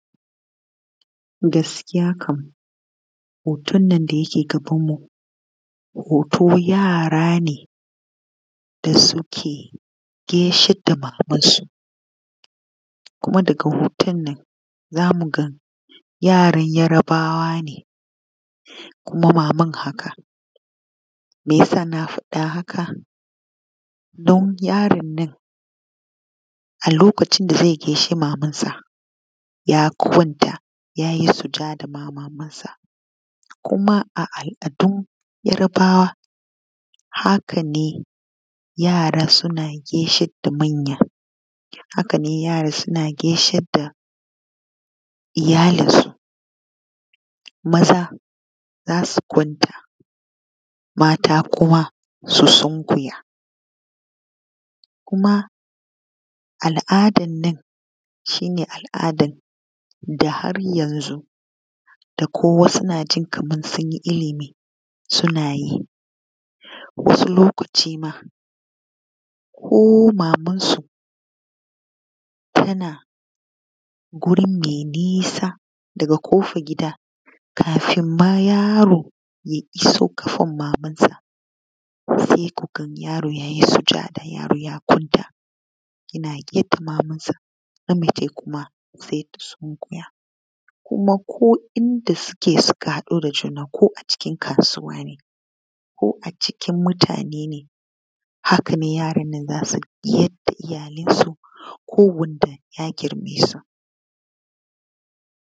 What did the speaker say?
Gaskiya kam hoton nan da yake gabanmu hoto yara ne da suke gaishe da babansu. kuma daga hoton nan za mu ga yaran yarbawa ne, kuma maman haka. Me sa na faɗi haka? Don yaron nan a lokacin da zai gashe mamansa ya kwanta ya yi sujada ma mamansa, kuma a al’adun yarbawa haka ne yara suna gaishe da manya, haka ne yara suna gaishe da iyalinsu. Maza za su kwanta mata kuma su sunkuya, kuma al’dan nan shi ne al’adan da har yanzu da ko wasu na jin sun yi ilimi suna yi. Wasu lokaci ma ko mamansu tana guri mai nisa daga ƙofar gida kafin ma yaro ya iso ƙafan mamansa sai ku gan yaro ya yi sujada, yaro ya kwanta, yana gefen mamansa na mace kuma sai ta sunkuya. Kuma ko inda suke suka haɗu da juna ko a cikin kasuwa ne, ko a cikin mutane ne haka ne yaron nan za su yada iyyayen su ko wadda ya girmesu.